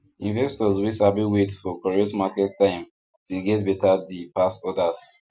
investors wey sabi wait for correct market time dey get better deal pass others